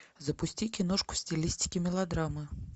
запусти киношку в стилистике мелодрамы